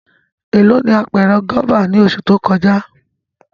Elo ni apẹrẹ guaba ni oṣu to kọja?